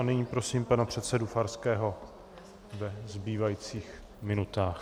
A nyní prosím pana předsedu Farského ve zbývajících minutách.